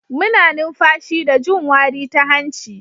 Muna numfashi da jin wari ta hanci.